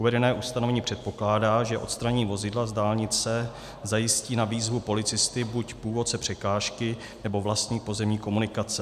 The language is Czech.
Uvedené ustanovení předpokládá, že odstranění vozidla z dálnice zajistí na výzvu policisty buď původce překážky, nebo vlastník pozemní komunikace.